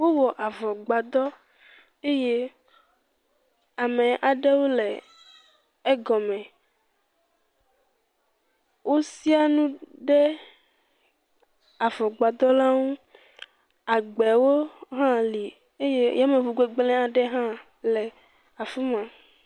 Wowɔ avɔ gbadɔ eye ame aɖewo le egɔme, osia nu ɖe avɔgbadɔ la ŋu, agb0wo hã li eye yameŋu gbegblẽ aɖe hɔ le afi ma.